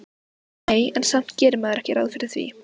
Nei, en samt gerir maður ekki ráð fyrir því